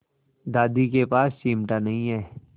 दादी के पास चिमटा नहीं है